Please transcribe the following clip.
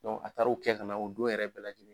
a taara o kɛ ka na o don yɛrɛ bɛɛ lajɛlen .